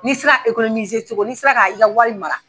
N'i sera cogo n'i sera k'a i ka wari mara.